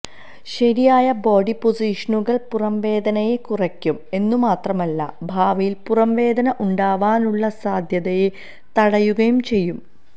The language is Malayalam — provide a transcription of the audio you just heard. ശരിയായ ബോഡി പൊസിഷനുകൾ പുറംവേദനയെ കുറയ്ക്കും എന്നുമാത്രമല്ല ഭാവിയിൽ പുറംവേദന ഉണ്ടാവാനുള്ള സാധ്യതയെ തടയുകയും ചെയ്യും